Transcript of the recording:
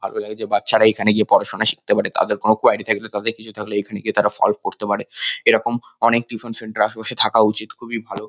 ভালো লাগে যে বাচ্চারা এখানে গিয়ে পড়াশোনা শিখতে পারে তাদের কোন কুয়ারি থাকলে তাদের কিছু থাকলে এখানে গিয়ে তারা সল্ভ করতে পারে । এরকম অনেক টিউশন সেন্টার আশেপাশে থাকা উচিত খুবই ভালো।